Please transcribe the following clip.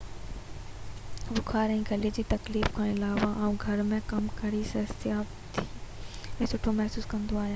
بخار ۽ غلي ۾ تڪليف کان علاوه آئون گهر ۾ ڪم ڪري صحتياب ۽ سٺو محسوس ڪندو آهيان